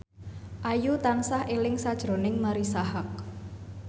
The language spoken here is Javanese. Ayu tansah eling sakjroning Marisa Haque